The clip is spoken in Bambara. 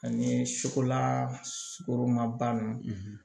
Ani sukolan sugoroma ban